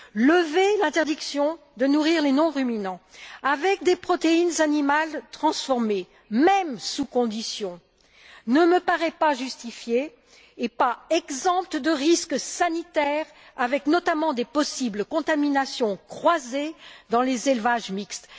Lever l'interdiction de nourrir les non ruminants avec des protéines animales transformées, même sous conditions, ne me paraît pas une mesure justifiée, ni exempte de risques sanitaires, notamment de risques de contamination croisée dans les élevages mixtes.